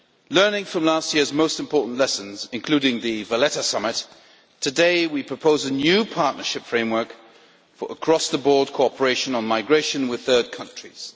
Learning from last year's most important lessons, including the Valletta summit, today we propose a new partnership framework for across the board cooperation on migration with third countries.